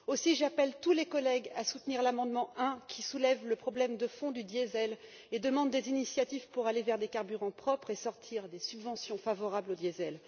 Aussi, j'appelle tous les collègues à soutenir l'amendement 1, qui soulève le problème de fond du diesel et demande des initiatives pour aller vers des carburants propres et sortir des subventions favorables au diesel.